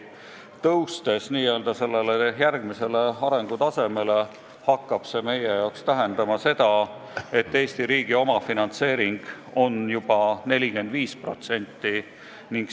Kui tõuseme n-ö järgmisele arengutasemele, siis hakkab see meie jaoks tähendama seda, et Eesti omafinantseering on juba 45%.